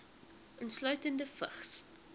insluitende vigs